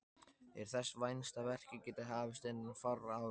Er þess vænst að verkið geti hafist innan fárra ára.